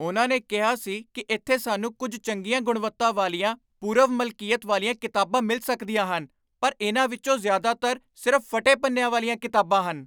ਉਹਨਾਂ ਨੇ ਕਿਹਾ ਸੀ ਕੀ ਇੱਥੇ ਸਾਨੂੰ ਕੁੱਝ ਚੰਗੀਆਂ ਗੁਣਵੱਤਾ ਵਾਲੀਆਂ ਪੂਰਵ ਮਲਕੀਅਤ ਵਾਲੀਆਂ ਕਿਤਾਬਾਂ ਮਿਲ ਸਕਦੀਆਂ ਹਨ ਪਰ ਇਹਨਾਂ ਵਿੱਚੋਂ ਜ਼ਿਆਦਾਤਰ ਸਿਰਫ਼ ਫੱਟੇ ਪੰਨਿਆਂ ਵਾਲੀਆਂ ਕਿਤਾਬਾਂ ਹਨ